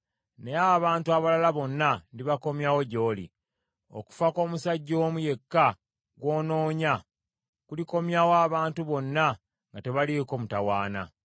naye abantu abalala bonna ndibakomyawo gy’oli. Okufa kw’omusajja omu yekka gw’onoonya, kulikomyawo abantu bonna nga tebaliiko mutawaana.”